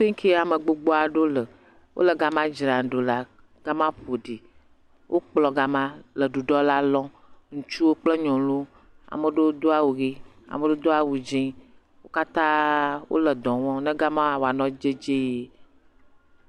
Fike ame gbogbo aɖe le. Wole gama dzram ɖo la. Gama ƒoɖi. Wokplɔ gama le ɖuɖɔ la lɔm. Ŋutsuwo kple nyɔnuwo. Ame ɖewo do awu ɣi, ame ɖewo do awu dzɛ. Ŋutsu kple nyunuwo kata wole ɖɔ wɔm be gama woano dedie.